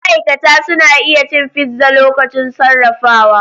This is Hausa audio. Ma'aikata suna iya cin fizza lokacin sarrafawa.